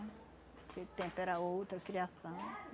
Aquele tempo era outra a criação.